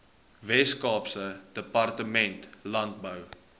weskaapse departement landbou